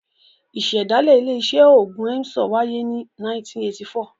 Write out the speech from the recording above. Ìṣẹ̀dálẹ̀ ilé-iṣẹ́ òògùn Emzor wáyé ní 1984.